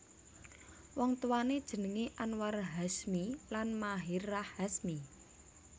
Wong tuwané jenengé Anwar Hashmi lan Maherahh Hasmi